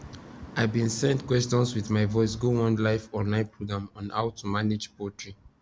i bin send questions with my voice go one live online program on how to manage poultry